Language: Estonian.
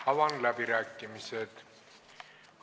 Avan läbirääkimised.